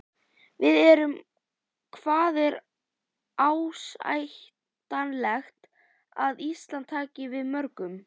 Við erum, hvað er ásættanlegt að Ísland taki við mörgum?